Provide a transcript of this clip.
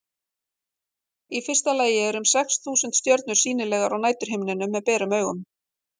í fyrsta lagi eru um sex þúsund stjörnur sýnilegar á næturhimninum með berum augum